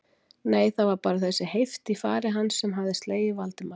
Nei, það var bara þessi heift í fari hans sem hafði slegið Valdimar.